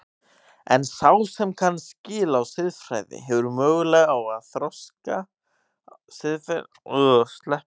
En sá sem kann skil á siðfræði hefur möguleika á að þroska siðferðilega dómgreind sína.